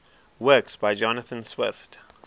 works by jonathan swift